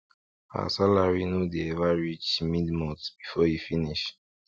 her salary no dey ever reach midmonth before e finish